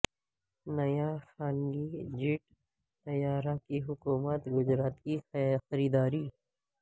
نیا خانگی جیٹ طیارہ کی حکومت گجرات کی خریداری